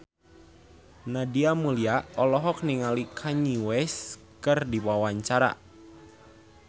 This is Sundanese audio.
Nadia Mulya olohok ningali Kanye West keur diwawancara